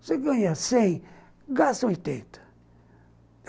Você ganha cem, gasta oitenta.